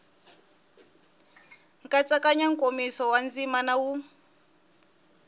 nkatsakanyo nkomiso wa ndzima wu